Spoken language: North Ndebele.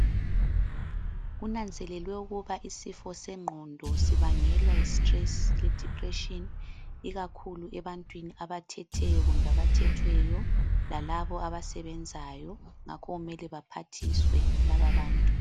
Kunanzelelwe ukuba isifo sengqondo sibangelwa yistress ledepression ikakhulu ebantwini abathetheyo kumbe abathethweyo lalabo abasebenzayo ngakho kumele baphathiswe labo bantu.